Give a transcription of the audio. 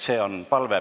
See on palve.